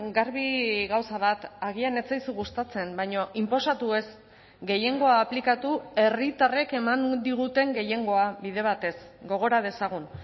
garbi gauza bat agian ez zaizu gustatzen baina inposatu ez gehiengoa aplikatu herritarrek eman diguten gehiengoa bide batez gogora dezagun